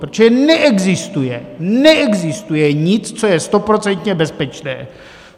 Protože neexistuje, neexistuje nic, co je stoprocentně bezpečné.